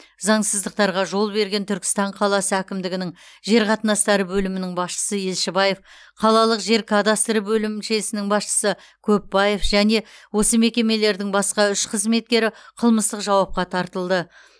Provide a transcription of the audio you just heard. заңсыздықтарға жол берген түркістан қаласы әкімдігінің жер қатынастары бөлімінің басшысы елшібаев қалалық жер кадастры бөлімшесінің басшысы көпбаев және осы мекемелердің басқа үш қызметкері қылмыстық жауапқа тартылды